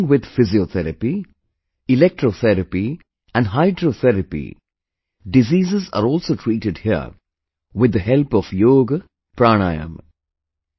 Along with Physiotherapy, Electrotherapy, and Hydrotherapy, diseases are also treated here with the help of YogaPranayama